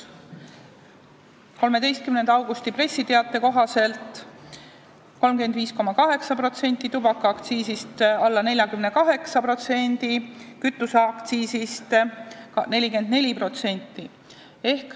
13. augusti pressiteate kohaselt oli alkoholiaktsiisist laekunud 35,8%, tubakaaktsiisist alla 42% ja kütuseaktsiisist 44%.